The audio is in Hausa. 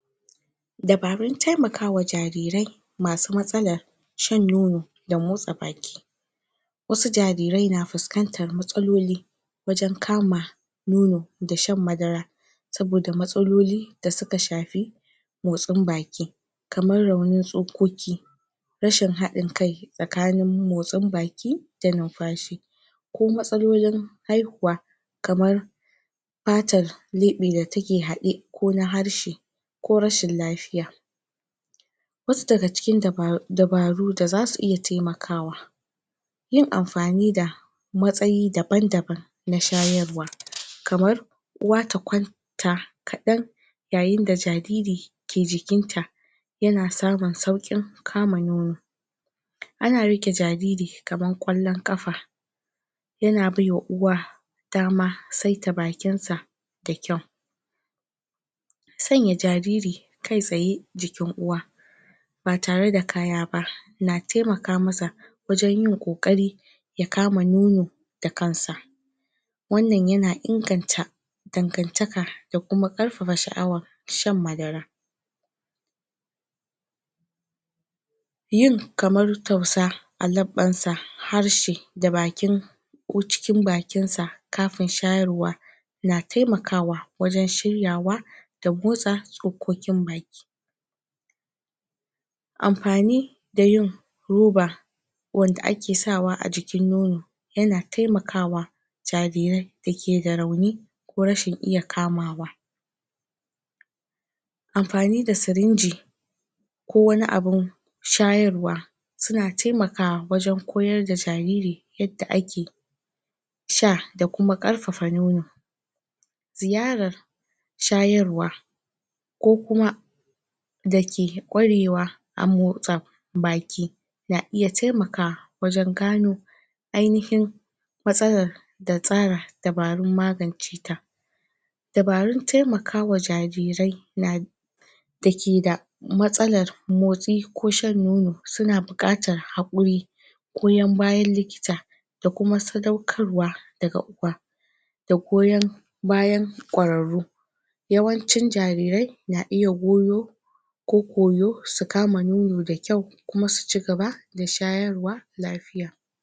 dabarun temakawa jarire masu matsalar shan nono da motsa baki wasu jarire na fiskantar matsaloli wajan kama nono da shan madara saboda matsaloli da suka shafi motsin baki kamar raunin tsokoki rashin hadin kai tsakanin motsin baki da numfashi ko matsalolin haihuwa kamar fatar lebe da take hade ko na harshe ko rashin lafiya wasu daga cikin dabaru da za su iya temakawa yin amfani da matsayi daban-daban na shayarwa kamar uwa ta kwanta kadan yayin da jariri ke jikinta yana samun saukun kama nono ana rike jariri kamar kwallon kafa yana baiwa uwa dama saita bakinsa da kyau sanya jariri kai tsaye jikin uwa ba tare da kaya ba na temaka masa wajan yin kokari ya kama nono da kansa wannan yana inganta dangantaka da kuma karfafa shaawa shan madara yin kamar tausa a labbansa harshe da bakin ko cikin bakinsa kafin shayarwa na temakawa wajan shiryawa da motsa tsokokin baki amfani da yin roba wanda ake sawa a jikin nono yana temakawa jarire da ke da rauni ko rashin iya kamawa amfani da sirinji ko wani abun shayarwa suna temakawa wajan koyar da jariri yadda ake sha da kuma karfafa nono ziyarar shayarwa ko kuma da ke kwarewa a motsa baki na iya temakawa wajan gano ay nihin matsalar da tsara dabarun maganceta dabarun temakawa jarire na da ke da matsalar motsi ko shan nono suna bukatar hakuri goyan bayan likita da kuma sadaukarwa daga uwa da goyan bayan kwararrau yawancin jarire na iya goyo ko koyo su kama nono da kyau kuma su cigaba da shayarwa lafiya